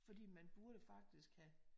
Fordi man burde faktisk have